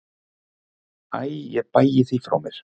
Æ ég bægi því frá mér.